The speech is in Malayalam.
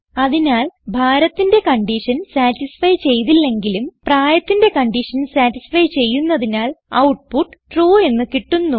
അതിനാൽ ഭാരത്തിന്റെ കൺഡിഷൻ സതിസ്ഫൈ ചെയ്തില്ലെങ്കിലും പ്രായത്തിന്റെ കൺഡിഷൻ സതിസ്ഫൈ ചെയ്യുന്നതിനാൽ ഔട്ട്പുട്ട് ട്രൂ എന്ന് കിട്ടുന്നു